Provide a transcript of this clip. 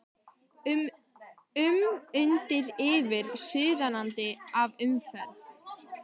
um, undir og yfir, suðandi af umferð.